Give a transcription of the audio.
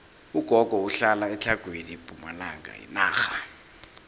ugogo uhlala etlhagwini pumalanga yenarha